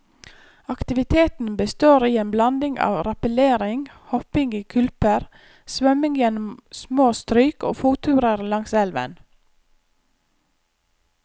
Aktiviteten består i en blanding av rappellering, hopping i kulper, svømming gjennom små stryk og fotturer langs elven.